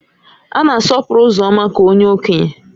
A na-asọpụrụ Uzoma ka onye Okenye